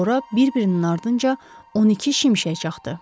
Sonra bir-birinin ardınca 12 şimşək çaxdı.